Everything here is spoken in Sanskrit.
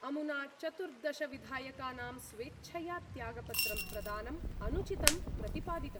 अमुना चतुर्दश विधायकानां स्वेच्छया त्यागपत्र प्रदानम् अनुचितं प्रतिपादितम्।